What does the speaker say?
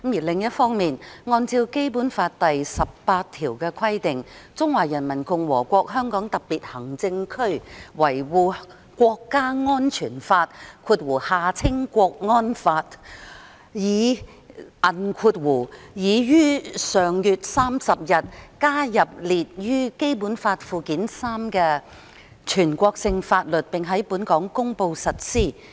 另一方面，按照《基本法》第十八條的規定，《中華人民共和國香港特別行政區維護國家安全法》已於上月30日，加入列於《基本法》附件三的全國性法律，並在本港公布實施。